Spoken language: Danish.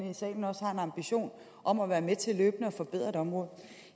ambition om at være med til løbende at forbedre området